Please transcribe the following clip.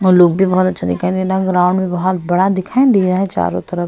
और लोग भी बहुत अच्छा दिखाई दे रहा ग्राउंड भी बहुत बड़ा दिखाई दे रहा चारों तरफ --